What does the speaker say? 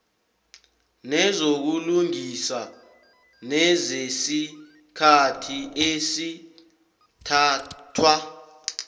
nezokulungisa nezesikhathi esithathwa